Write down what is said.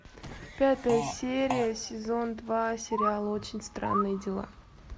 пятая серия сезон два сериал очень странные дела